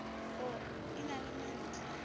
o e na le mantle